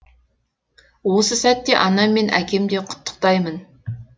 осы сәтте анам мен әкем де құттықтаймын